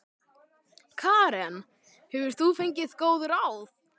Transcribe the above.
Karen: Hefur þú fengið góð ráð?